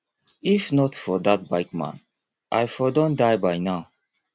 if not for dat bike man i for don die by now